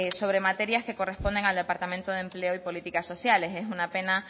sobre materias que corresponden al departamento de empleo y políticas sociales es una pena